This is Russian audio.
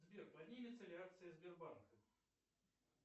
сбер поднимется ли акция сбербанка